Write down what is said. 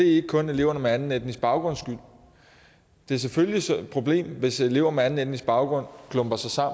ikke kun eleverne med anden etnisk baggrunds skyld det er selvfølgelig et problem hvis elever med anden etnisk baggrund klumper sig